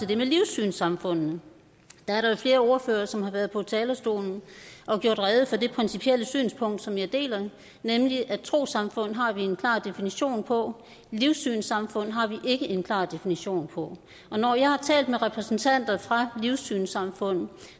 det med livssynssamfundene der er der jo flere ordførere som har været på talerstolen og gjort rede for det principielle synspunkt som jeg deler nemlig at trossamfund har vi en klar definition på livssynssamfund har vi ikke en klar definition på når jeg har talt med repræsentanter for livssynssamfund